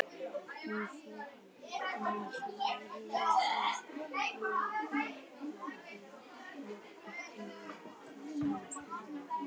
Af framansögðu er ljóst að vörumerki verður ekki notað sem firmanafn.